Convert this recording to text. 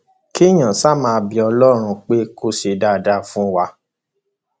kéèyàn ṣáà máa bẹ ọlọrun pé kó ṣe dáadáa fún wa